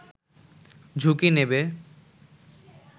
ঝুঁকি নেবে